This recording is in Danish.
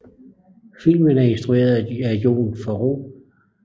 Filmen er instrueret af Jon Favreau